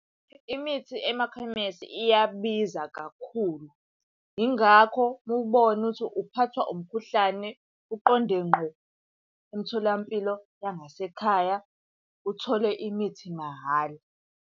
Imithi emakhemesi iyabiza kakhulu. Yingakho uma ubona ukuthi uphathwa umkhuhlane uqonde ngqo emtholampilo yangasekhaya uthole imithi mahhala.